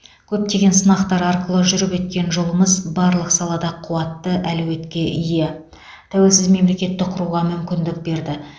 көптеген сынақтар арқылы жүріп өткен жолымыз барлық салада қуатты әлеуетке ие тәуелсіз мемлекетті құруға мүмкіндік берді